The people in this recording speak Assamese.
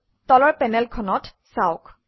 তলৰ পেনেলখনত চাওক